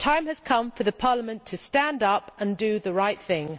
Time has come for Parliament to stand up and do the right thing.